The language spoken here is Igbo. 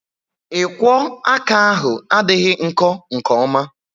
Ikwo aka ahu adịghị nkọ nke oma